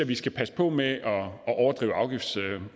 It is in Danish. vi skal passe på med